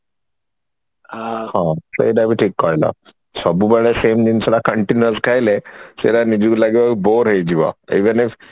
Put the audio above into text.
ଅହୋ ସେଇଟା ବି ଠିକ କହିଲ ସବୁ ବେଳେ same ଜିନିଷ ଟା continuous ଖାଇଲେ ସେଇଟା ନିଜକୁ ଲାଗିବ bore ହେଇଯିବ even if